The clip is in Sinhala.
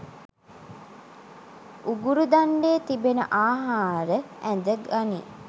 උගුරු දණ්ඩේ තිබෙන ආහාර ඇද ගනී.